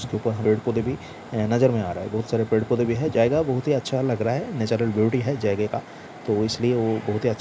उसके ऊपर पेड़-पौधे भी नज़र में आ रहा है बहोत सारे पेड़-पौधे भी है जएगा बहोत ही अच्छा लग रहा है नेचुरल ब्यूटी है जगह का तो इसलिए वो बहोत ही अच्छा --